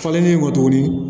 Falenlen kɔ tuguni